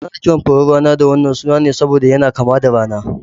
Ana kiran furen rana da wannan suna ne saboda yana kama da rana